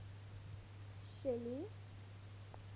shelly